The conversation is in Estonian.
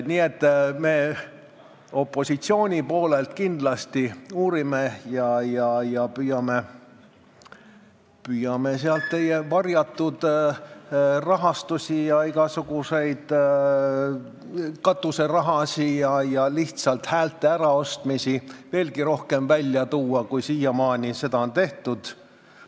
Nii et me opositsiooni poolelt kindlasti uurime ja püüame sealt veelgi rohkem teie varjatud rahastusi, igasuguseid katuserahasid ja lihtsalt häälte äraostmisi välja tuua, kui seda siiamaani tehtud on.